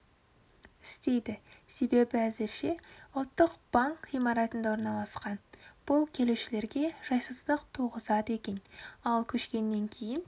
істейді себебі әзірше ұлттық банк ғимаратында орналасқан бұл келушілерге жайсыздық туғызады екен ал көшкеннен кейін